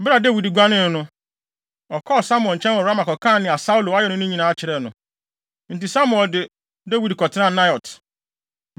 Bere a Dawid guanee no, ɔkɔɔ Samuel nkyɛn wɔ Rama kɔkaa nea Saulo ayɛ no no nyinaa kyerɛɛ no. Enti Samuel de Dawid kɔtenaa Naiot.